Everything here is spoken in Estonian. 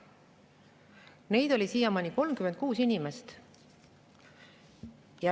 Siiamaani on neid inimesi olnud 36.